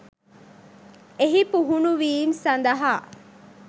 එහි පුහුණුවීම් සඳහා